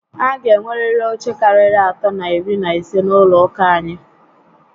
A gá enweriri oche karịa atọ na iri na ise n'ụlọ ụka anyị